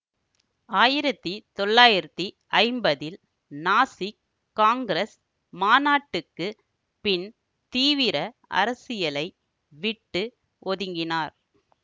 ஆயிரத்தி தொள்ளாயிரத்தி ஐம்பதில் நாசிக் காங்கிரஸ் மாநாட்டுக்குப் பின் தீவிர அரசியலை விட்டு ஒதுங்கினார்